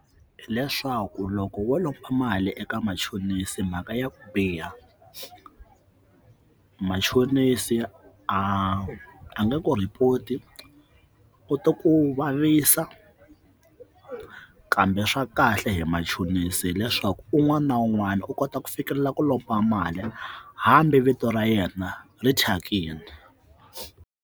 Hileswaku loko wo lomba mali eka machonisa mhaka ya ku biha machonisi a a nge ku report-i i to ku vavisa kambe swa kahle hi machonisi hileswaku un'wana na un'wana u kota ku fikelela ku lomba mali hambi vito ra yena ri thyakini.